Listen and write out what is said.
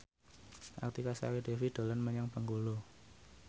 Artika Sari Devi dolan menyang Bengkulu